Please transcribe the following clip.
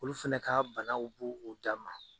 Olu fɛnɛ ka banaw b'u o dan ma.